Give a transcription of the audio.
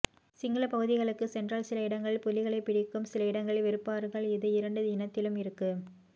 சிங்கள பகுதிகளுக்கு சென்றால் சில இடங்களில் புலிகளை பிடிக்கும் சில இடங்களில் வெறுப்பார்கள் இது இரண்டு இனத்திலும் இருக்கு